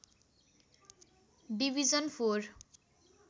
division four